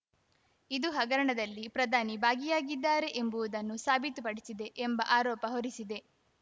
ಇದು ಹಗರಣದಲ್ಲಿ ಪ್ರಧಾನಿ ಭಾಗಿಯಾಗಿದ್ದಾರೆ ಎಂಬುವುದನ್ನು ಸಾಬೀತುಪಡಿಸಿದೆ ಎಂಬ ಆರೋಪ ಹೊರಿಸಿದೆ